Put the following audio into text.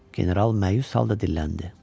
General məyus halda dilləndi: